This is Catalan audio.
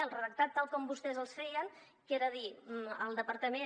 el redactat tal com vostès el feien que era dir el departament